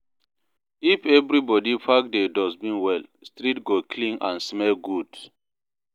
If everybody pack their dustbin well, street go clean and smell good.